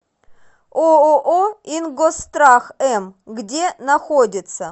ооо ингосстрах м где находится